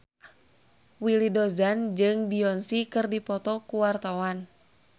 Willy Dozan jeung Beyonce keur dipoto ku wartawan